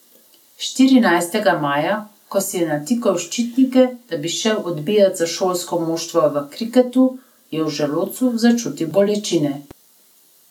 Štirinajstega maja, ko si je natikal ščitnike, da bi šel odbijat za šolsko moštvo v kriketu, je v želodcu začutil bolečine.